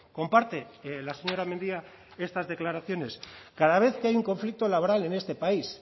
comparte la señora mendia estas declaraciones cada vez que hay un conflicto laboral en este país